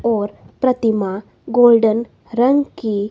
और प्रतिमा गोल्डन रंग की--